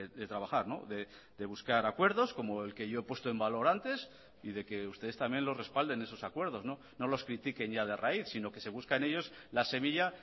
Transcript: de trabajar de buscar acuerdos como el que yo he puesto en valor antes y de que ustedes también lo respalden esos acuerdos no los critiquen ya de raíz sino que se busquen ellos la semilla